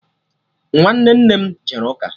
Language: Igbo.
Nwanne nne m jere ụka